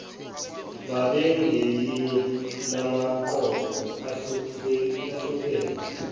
babengelinye lamaqoqo ahlupheka